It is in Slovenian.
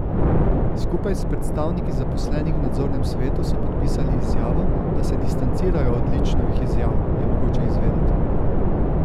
Skupaj s predstavniki zaposlenih v nadzornem svetu so podpisali izjavo, da se distancirajo od Ličnovih izjav, je mogoče izvedeti.